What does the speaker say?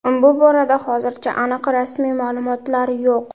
Bu borada hozircha aniq rasmiy ma’lumotlar yo‘q.